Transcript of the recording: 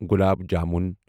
گلاب jamun